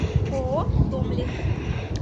ооо томлес